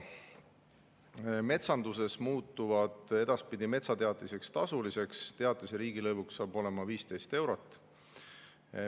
Metsanduses muutuvad edaspidi metsateatised tasuliseks, teatise riigilõiv hakkab maksma 15 eurot.